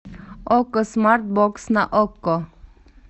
окко смарт бокс на окко